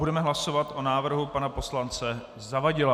Budeme hlasovat o návrhu pana poslance Zavadila.